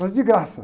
Mas de graça.